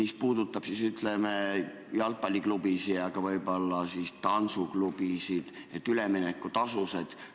See puudutab jalgpalliklubide ja võib-olla ka tantsuklubide üleminekutasusid.